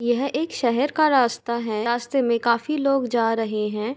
यह एक शहर का रास्ता है रास्ते में काफी लोग जा रहे हैं |